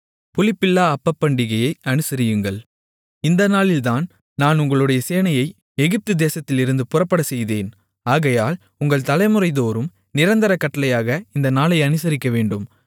புளிப்பில்லா அப்பப்பண்டிகையை அனுசரியுங்கள் இந்த நாளில்தான் நான் உங்களுடைய சேனைகளை எகிப்து தேசத்திலிருந்து புறப்படச்செய்தேன் ஆகையால் உங்கள் தலைமுறைதோறும் நிரந்தரக் கட்டளையாக இந்த நாளை அனுசரிக்கவேண்டும்